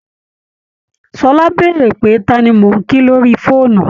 Ṣọlá bèèrè pé ta ni mò ń kí lorí fóònù